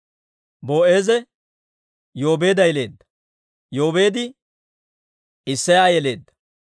Boo'eeze Yoobeeda yeleedda; Yoobeedi Isseya yeleedda.